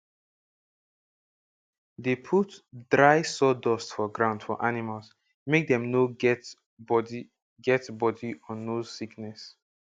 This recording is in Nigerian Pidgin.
dey put dry sawdust for ground for animals make dem for no get body get body or nose sickness